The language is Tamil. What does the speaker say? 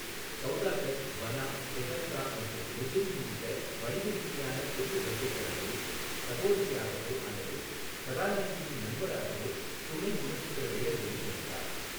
சௌதாகர், பனா, தெஹல்கா மற்றும் முஜ்ரிம் உள்ளிட்ட வணிக ரீதியான பெரிய பட்ஜெட் படங்களில் சகோதரியாகவோ அல்லது கதாநாயகியின் நண்பராகவோ துணை குணச்சித்திர வேடங்களில் நடித்தார்.